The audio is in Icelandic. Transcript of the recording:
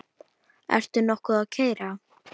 Ertu nokkuð að keyra?